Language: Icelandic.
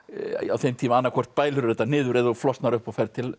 á þeim tíma annað hvort bælirðu þetta niður eða flosnar upp og ferð til